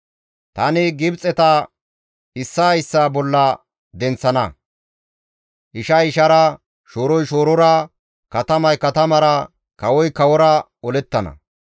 «Tani Gibxeta issaa issaa bolla denththana; ishay ishara, shooroy shoorora, katamay katamara, kawoy kawora olettana.